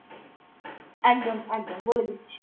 একদম একদম বলে দিচ্ছি